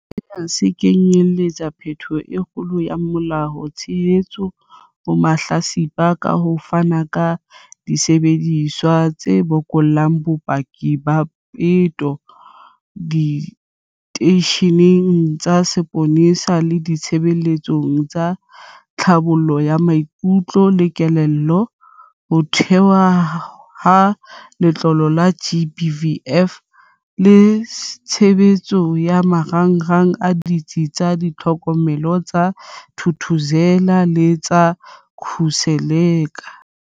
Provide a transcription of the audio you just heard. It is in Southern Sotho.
Sena se kenyeletsa phetholo e kgolo ya molao, tshehetso ho mahlatsipa ka ho fana ka disebediswa tse bokellang bopaki ba peto diteisheneng tsa sepolesa le ditshebeletso tsa tlhabollo ya maikutlo le kelello, ho thehwa ha Letlole la GBVF le tshehetso ya marangrang a Ditsi tsa Tlhokomelo tsa Thuthuzela le tsa Khuseleka.